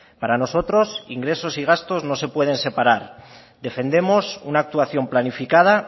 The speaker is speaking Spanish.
para nosotros ingresos y gastos no se pueden separar defendemos una actuación planificada